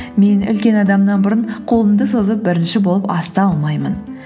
мен үлкен адамнан бұрын қолымды созып бірінші болып асты алмаймын